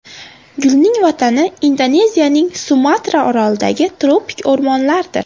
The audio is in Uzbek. Gulning vatani Indoneziyaning Sumatra orolidagi tropik o‘rmonlardir.